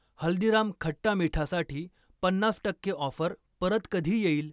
हल्दीराम खट्टा मीठासाठी पन्नास टक्के ऑफर परत कधी येईल?